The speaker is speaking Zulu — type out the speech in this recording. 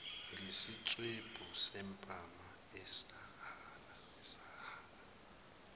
ngesiswebhu sempama esahlala